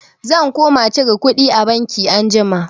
Zan koma cire kuɗi a banki anjima.